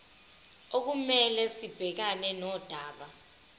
okumele sibhekane nodaba